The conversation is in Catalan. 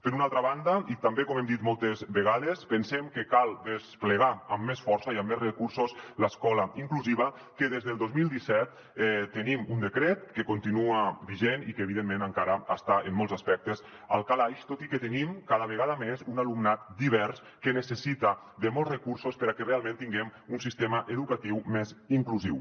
per una altra banda i també com hem dit moltes vegades pensem que cal desplegar amb més força i amb més recursos l’escola inclusiva que des del dos mil disset tenim un decret que continua vigent i que evidentment encara està en molts aspectes al calaix tot i que tenim cada vegada més un alumnat divers que necessita molts recursos perquè realment tinguem un sistema educatiu més inclusiu